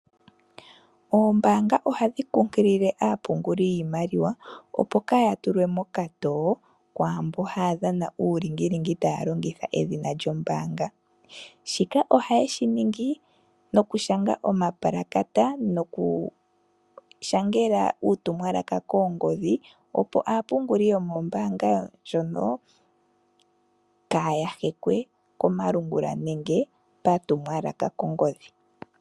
Oombanga ohadhi kunkilile aapunguli yiimaliwa. Opo kaya tulwe mokatoo kwaamba haya dhana ulingilingi taya longitha edhina lyombanga. Shika ohaye shi ningi nooku shanga shanga omapulakata noku shangela uutumwalaka koongodhi opo aapunguli yomombaanga ndjono kaya hekwe komalungula nenge patumwalaka kongodhi.